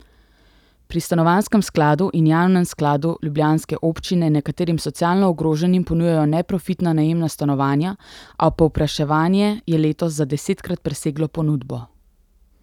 Pri stanovanjskem skladu in javnem skladu ljubljanske občine nekaterim socialno ogroženim ponujajo neprofitna najemna stanovanja, a povpraševanje je letos za desetkrat preseglo ponudbo.